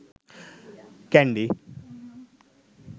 kandy